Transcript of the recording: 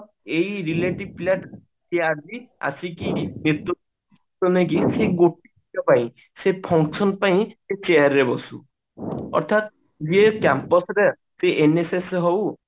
ଏଇ relative ପିଲା ଆଜି ଆସିକି ନେତୃତ୍ଵ ସେ function ପାଇଁ chair ରେ ବସୁ ଅର୍ଥାତ ଯିଏ Campus ରେ ସେ NSS ରେ ହଉ